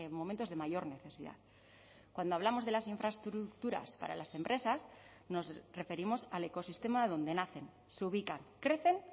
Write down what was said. momentos de mayor necesidad cuando hablamos de las infraestructuras para las empresas nos referimos al ecosistema donde nacen se ubican crecen